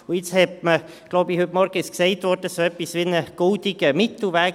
Jetzt hat man – ich glaube, heute Morgen wurde es gesagt – so etwas wie einen goldenen Mittelweg.